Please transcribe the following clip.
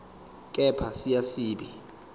kepha siya siba